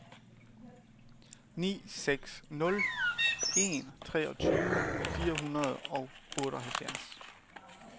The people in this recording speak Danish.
ni seks nul en treogtyve fire hundrede og otteoghalvfjerds